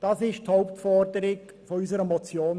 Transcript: Dies ist die Hauptforderung der Ziffer 2 unserer Motion.